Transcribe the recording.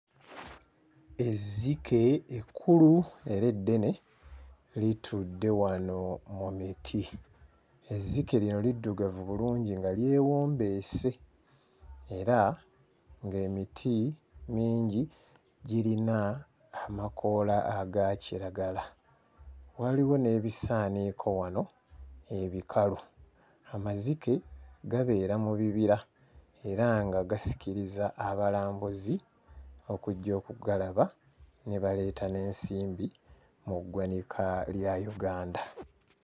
Ezzike ekkulu era eddene, litudde wano mu miti. Ezzike lino liddugavu bulungi nga lyewombeese era emiti mingi girina amakoola aga kiragala. Waliwo n'ebisaaniiko wano ebikalu. Amazike, gabeera mu bibira era nga gasikiriza abalambuzi okujja okugalaba ne baleeta n'ensimbi mu ggwanika lya Uganda.